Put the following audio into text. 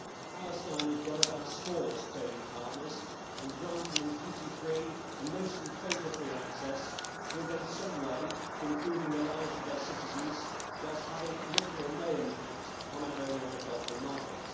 Palestine is one of our smallest trading partners and granting them duty free and mostly quota free access will go some way to improving the lives of their citizens whilst having little or no impact on our own agricultural market.